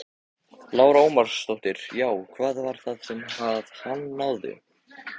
Lára Ómarsdóttir: Já, hvað var það sem að hann náði?